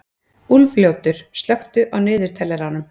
Úlfljótur, slökktu á niðurteljaranum.